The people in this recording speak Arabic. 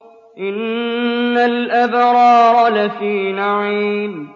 إِنَّ الْأَبْرَارَ لَفِي نَعِيمٍ